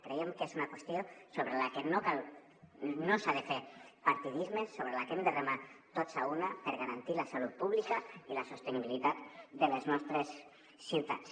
creiem que és una qüestió sobre la que no s’ha de fer partidisme sobre la que hem de remar tots a una per garantir la salut pública i la sostenibilitat de les nostres ciutats